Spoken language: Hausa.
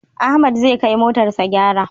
Ahmad zai kai motar sa gyara